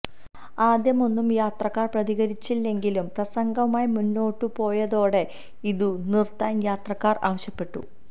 ആദ്യമൊന്നും യാത്രക്കാർ പ്രതികരിച്ചില്ലെങ്കിലും പ്രസംഗവുമായി മുന്നോട്ടു പോയതോടെ ഇതു നിർത്താൻ യാത്രക്കാർ ആവശ്യപ്പെട്ടു